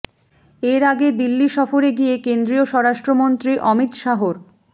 এর আগে দিল্লি সফরে গিয়ে কেন্দ্রীয় স্বরাষ্ট্রমন্ত্রী অমিত শাহর